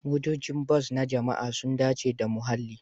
Motocin bas na jama'a sun dace da muhalli.